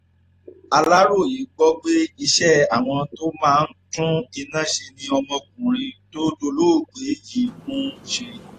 aláròye gbọ́ pé iṣẹ́ àwọn tó máa ń tún iná ṣe ni ọmọkùnrin tó dolóògbé yìí ń ṣe